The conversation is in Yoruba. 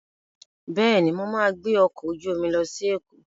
Bẹ́ẹ̀ni, mo ma gbẹ́ ọkọ̀ ojú omi lọ sí Èkó